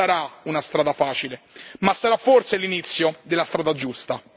non sarà una strada facile, ma sarà forse l'inizio della strada giusta.